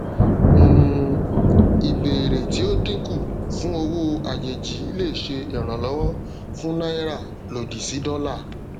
um ìbéèrè tí ó dínkù fún owó àjèjì lè ṣe ìrànlówọ fún náírà lòdì sí dọlà